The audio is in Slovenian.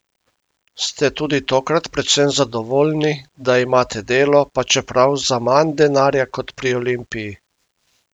Ste tudi tokrat predvsem zadovoljni, da imate delo, pa čeprav za manj denarja kot pri Olimpiji?